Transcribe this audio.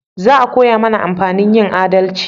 Za a koya mana amfanin yin adalci